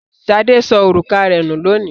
Ṣadé sọ òrùka rẹ̀ nú lónìí.